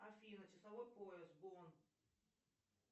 афина часовой пояс бонн